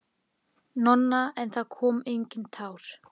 Nonna, en það komu engin tár.